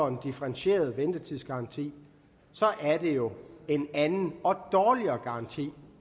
en differentieret ventetidsgaranti og det er jo en anden og dårligere garanti